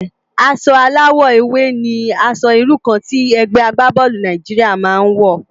Aṣò àláwò éwé ni ãṣò irú kàn ti ègbé àgbábòlú Nàijiriá má n wò